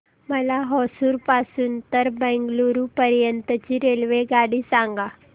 मला होसुर पासून तर बंगळुरू पर्यंत ची रेल्वेगाडी सांगा